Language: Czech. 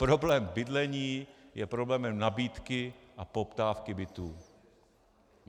Problém bydlení je problémem nabídky a poptávky bytů.